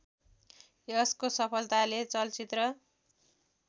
यसको सफलताले चलचित्र